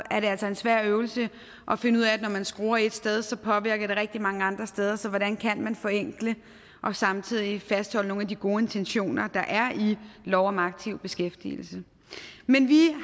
er det altså en svær øvelse at finde ud af for når man skruer et sted sted påvirker det rigtig mange andre steder så hvordan kan man forenkle og fastholde nogle af de gode intentioner der er i lov om aktiv beskæftigelse men vi